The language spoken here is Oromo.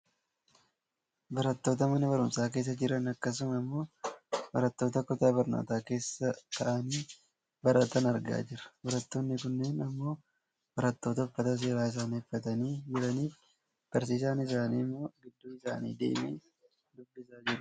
Barattoota mana barumsaa keessa jiran akkasuma ammoo barattoota kutaa barnootaa keessa taa'aanii baratan argaa jirra. Barattootni kunneen ammoo barattoota uffata seeraa isaanii uffatanii jiranii fi barsiisaan isaanii ammoo gidduu isaanii deemee dubbisiisaa jirudha.